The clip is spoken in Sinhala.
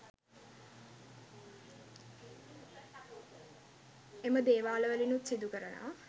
එම දේවාල වලිනුත් සිදු කරනවා.